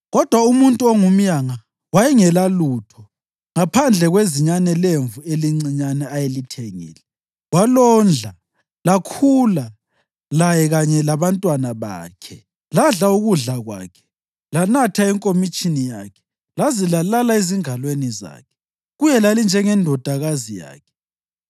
kodwa umuntu ongumyanga wayengelalutho ngaphandle kwezinyane lemvu elincinyane ayelithengile. Walondla, lakhula laye kanye labantwana bakhe. Ladla ukudla kwakhe, lanatha enkomitshini yakhe laze lalala ezingalweni zakhe. Kuye lalinjengendodakazi yakhe.